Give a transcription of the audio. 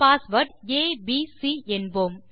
password A B C என்போம்